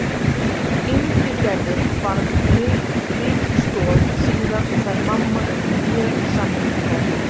Ingigerður varð mikil stoð síðar og þær mamma urðu mjög samrýmdar.